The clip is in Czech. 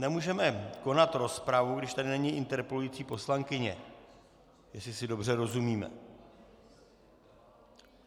Nemůžeme konat rozpravu, když tady není interpelující poslankyně, jestli si dobře rozumíme.